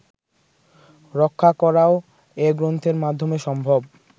রক্ষা করাও এ গ্রন্থের মাধ্যমে সম্ভব